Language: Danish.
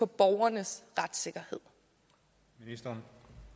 borgernes retssikkerhed for